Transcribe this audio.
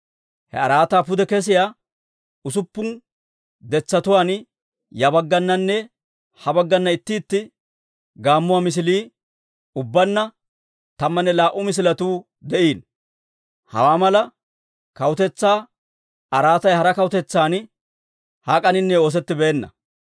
He araataa pude kesiyaa usuppun detsatuwaan ya baggananne ha baggana itti itti gaammuwaa misilii, ubbaanna tammanne laa"u misiletuu de'iino. Hawaa mala kawutetsaa araatay hara kawutetsan hak'aninne oosettibeenna.